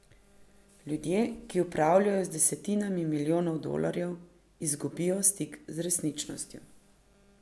Ljudje, ki upravljajo z desetinami milijonov dolarjev, izgubijo stik z resničnostjo.